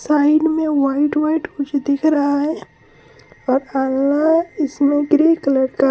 Side मे white white कुछ दिख रहा है। और आला इसमे ग्रे कलर का ---